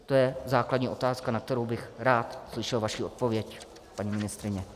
To je základní otázka, na kterou bych rád slyšel vaši odpověď, paní ministryně.